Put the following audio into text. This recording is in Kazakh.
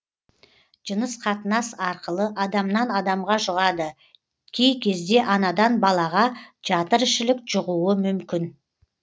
жыныс қатынас арқылы адамнан адамға жұғады кей кезде анадан балаға жатыр ішілік жұғуы мүмкін